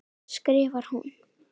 skrifar hún.